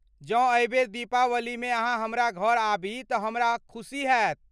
जँ एहि बेर दीपावली मे अहाँ हमरा घर आबी तऽ हमरा खुशी हेत